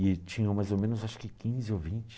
E tinham mais ou menos, acho que quinze ou vinte.